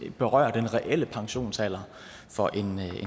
berører den reelle pensionsalder for en